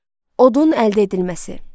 Odun əldə edilməsi.